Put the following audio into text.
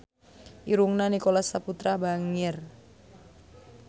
Irungna Nicholas Saputra bangir